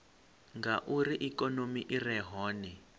ngauri ikonomi i re hone